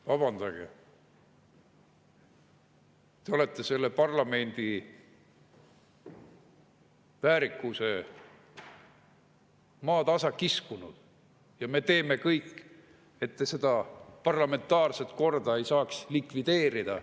Vabandage, te olete selle parlamendi väärikuse maatasa kiskunud ja me teeme kõik, et te seda parlamentaarset korda ei saaks likvideerida.